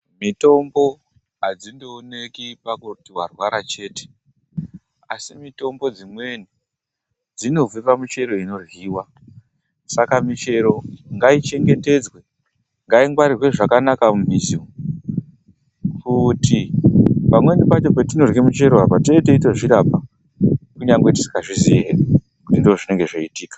Mitombo adzindooneki pakuti warwara chete. Asi mitombo dzimweni, dzinobva pamichero inoryiwa. Saka michero ngaichengetedzwe. Ngaingwarirwe zvakanaka mumizi. Ngekuti pamweni pacho petinorya michero, tinenge teitozvirapa kunyangwe tisikazii hedu kuti ndizvo zvinenge zveiitika.